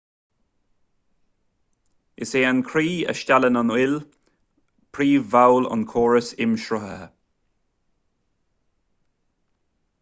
is é an croí a steallann an fhuil príomhbhall an chóras imshruthaithe